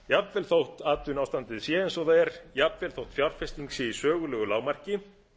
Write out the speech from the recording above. jafnvel þótt atvinnuástandið sé eins og það er jafnvel þótt fjárfesting sé í sögulegu lágmarki